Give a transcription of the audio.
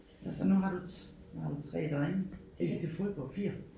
Og så nu har du nu har du 3 drenge en til fodbold 4